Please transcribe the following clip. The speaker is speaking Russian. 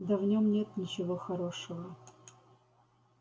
да в нем нет ничего хорошего